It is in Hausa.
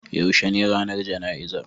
Yaushe ne ranar jana'izar?